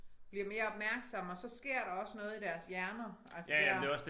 Bliver mere opmærksomme og så sker der også noget i deres hjerner altså der